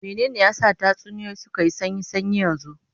Mene ne ya sa tatsuniyoyi suka yi sanyi sanyi yanzu?